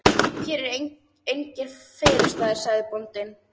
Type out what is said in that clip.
Hér eru engir felustaðir, sagði bóndinn.